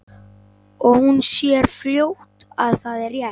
Og hún sér fljótt að það er rétt.